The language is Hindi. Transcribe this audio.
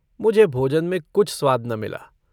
मुझे भोजन में कुछ स्वाद न मिला।